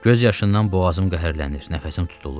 Göz yaşından boğazım qəhərlənir, nəfəsim tutulur.